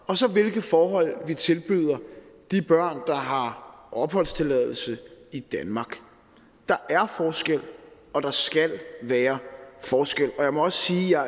og så hvilke forhold vi tilbyder de børn der har opholdstilladelse i danmark der er forskel og der skal være forskel jeg må også sige